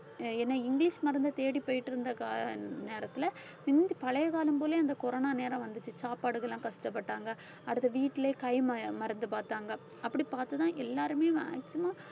ஏன்னா இங்கிலிஷ் மருந்தை தேடி போயிட்டு இருந்த கா~ நேரத்துல பழைய காலம் போலயே அந்த கொரோனா நேரம் வந்துச்சு சாப்பாடுக்கு எல்லாம் கஷ்டப்பட்டாங்க அடுத்து வீட்டிலேயே கை மருந்~ மருந்து பார்த்தாங்க அப்படி பார்த்துதான் எல்லாருமே maximum